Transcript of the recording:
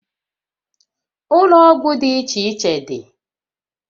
Ụlọ ọgwụ dị iche iche dị